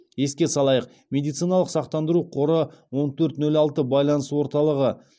еске салайық медициналық сақтандыру қоры он төрт нөл алты байланыс орталығы